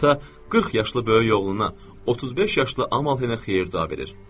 Ata 40 yaşlı böyük oğluna, 35 yaşlı Amahenə xeyir-dua verir.